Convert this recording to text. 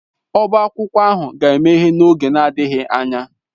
Ọbá akwụkwọ ahụ ga-emeghe n'oge adịghị anya.